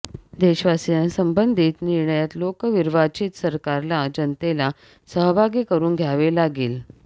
देशवाशीयांसंबंधीत निर्णयात लोकविर्वाचित सरकारला जनतेला सहभागी करून घ्यावे लागेल